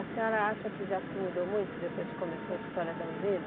A senhora acha que já se mudou muito depois que começou a história da usina?